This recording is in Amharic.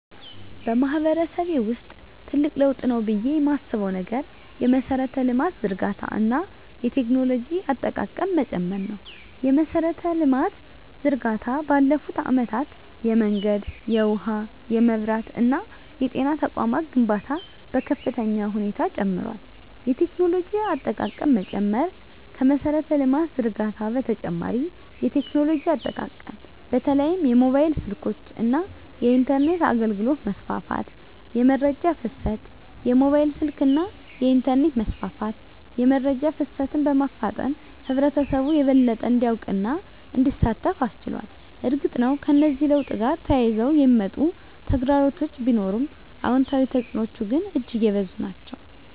በማህበረሰቤ ውስጥ ትልቅ ለውጥ ነው ብዬ የማስበው ነገር የመሠረተ ልማት ዝርጋታ እና የቴክኖሎጂ አጠቃቀም መጨመር ነው። የመሠረተ ልማት ዝርጋታ ባለፉት አመታት የመንገድ፣ የውሃ፣ የመብራት እና የጤና ተቋማት ግንባታ በከፍተኛ ሁኔታ ጨምሯል። የቴክኖሎጂ አጠቃቀም መጨመር ከመሠረተ ልማት ዝርጋታ በተጨማሪ የቴክኖሎጂ አጠቃቀም በተለይም የሞባይል ስልኮች እና የኢንተርኔት አገልግሎት መስፋፋት። * የመረጃ ፍሰት: የሞባይል ስልክና የኢንተርኔት መስፋፋት የመረጃ ፍሰትን በማፋጠን ህብረተሰቡ የበለጠ እንዲያውቅና እንዲሳተፍ አስችሏል። እርግጥ ነው፣ ከዚህ ለውጥ ጋር ተያይዘው የሚመጡ ተግዳሮቶች ቢኖሩም፣ አዎንታዊ ተፅዕኖዎቹ ግን እጅግ የበዙ ናቸው።